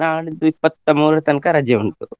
ನಾಡಿದ್ದು ಇಪ್ಪತ್ತಮೂರರ ತನಕ ರಜೆ ಉಂಟು.